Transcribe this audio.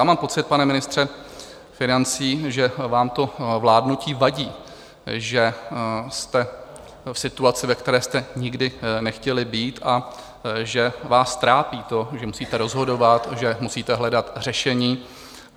Já mám pocit, pane ministře financí, že vám to vládnutí vadí, že jste v situaci, ve které jste nikdy nechtěli být, a že vás trápí to, že musíte rozhodovat, že musíte hledat řešení.